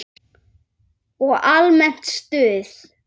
Og almennt stuð!